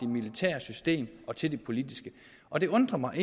militære system til det politiske og det undrer mig at